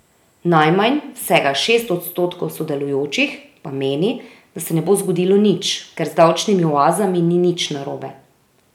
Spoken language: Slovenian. Najmanj, vsega šest odstotkov sodelujočih, pa meni, da se ne bo zgodilo nič, ker z davčnimi oazami ni nič narobe.